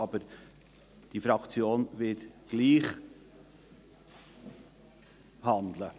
Aber die Fraktion wird gleich handeln.